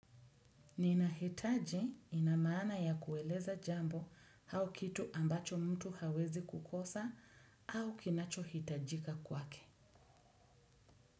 Ninahitaji, ina mana ya kueleza jambo hau kitu ambacho mtu hawezi kukosa, au kinachohitajika kwake.